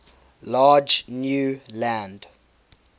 large new land